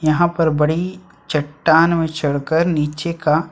यहाँ पर बड़ी चट्टान में चढ़कर नीचे का --